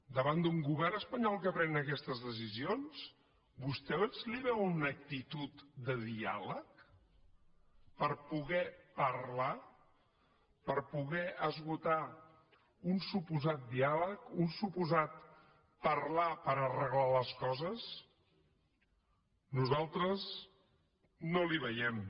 davant d’un govern espanyol que pren aquestes decisions vostès li veuen una actitud de diàleg per poder parlar per poder esgotar un suposat diàleg un suposat parlar per arreglar les coses nosaltres no l’hi veiem